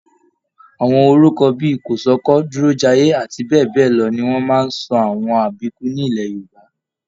Àwọn orúkọ bíi Kòsọ́kọ̀, Durojaiye àti bẹẹbẹlọ ní wọn máa n sọ àwọn àbíkú nilẹ̀ Yorùbá.